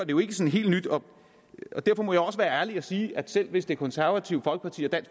jo ikke sådan helt nyt og derfor må jeg også være ærlig og sige at selv hvis det konservative folkeparti og